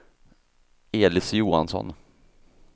Elis Johansson